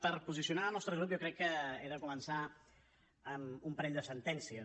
per posicionar el nostre grup jo crec que he de començar amb un parell de sentències